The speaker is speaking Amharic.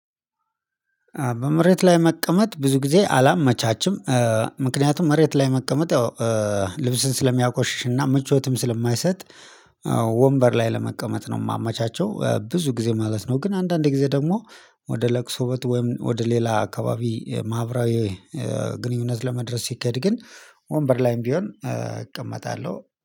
በመሬት ላይ መቀመጥ ብዙ ጊዜ አላመቻችም። ምክንያቱም መሬት ላይ መቀመጥ ያው ልብስን ስለሚያቆሽሽና ምቾትም ስለማይሰጥ። ወንበር ላይ ለመቀመጥ ነው የማመቻቸው ብዙ ጊዜ ማለት ነው። ግን አንዳንድ ጊዜ ደግሞ ወደ ለቅሶበት ወይም ወደ ሌላ አካባቢ ማህበራዊ ግንኙነት ለመድረስ ሲካሄድ ግን ወንበር ላይም ቢሆን እቀመጣለሁ